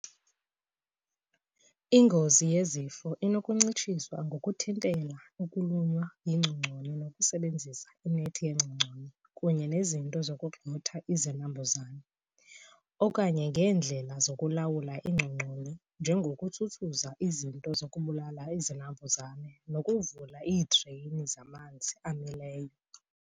Ingozi yezifo inokuncitshiswa ngokuthintela ukulunywa yingcongconi ngokusebenzisa inethi yengcongconi kunye nezinto zokugxotha izinambuzane, okanye ngeendlela zokulawula iingcongoni njengokutsutsuza zinto zokubulala izinambuzane nokuvula iidreyini zamanzi amileyo.